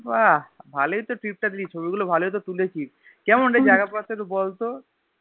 ভালোই তো Trip টা দিলি ছবিগুলো ভালোই তো তুলেছিস কেমন রে জায়গা একটু বলতো